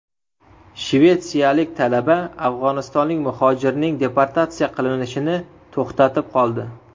Shvetsiyalik talaba afg‘onistonlik muhojirning deportatsiya qilinishini to‘xtatib qoldi .